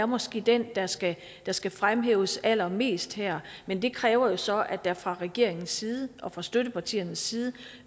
måske er den der skal der skal fremhæves allermest her men det kræver jo så at der fra regeringens side og fra støttepartiernes side